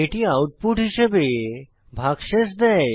এটি আউটপুট হিসাবে ভাগশেষ দেয়